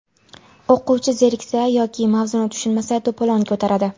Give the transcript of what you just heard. O‘quvchi zeriksa yoki mavzuni tushunmasa to‘polon ko‘taradi.